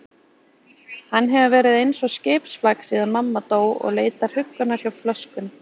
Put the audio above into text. Hann hefur verið eins og skipsflak síðan mamma dó og leitar huggunar hjá flöskunni.